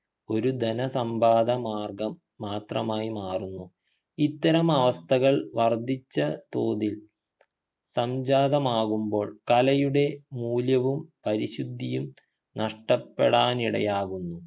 ഒരു ധന സമ്പാദ മാർഗ്ഗം മാത്രമായി മാറുന്നു ഇത്തരം അവസ്ഥകൾ വർദ്ധിച്ച തോതിൽ സംജാതമാകുമ്പോൾ കലയുടെ മൂല്യവും പരിശുദ്ധിയും നഷ്ടപ്പെടാനിടയാകുന്നു